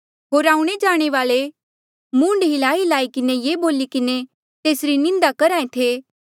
होर आऊणें जाणे वाल्ऐ मूंड हिल्लाईहिल्लाई किन्हें ये बोली किन्हें तेसरी निंदा करहा ऐें थे